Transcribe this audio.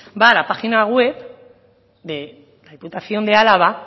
va a la página web de la diputación de álava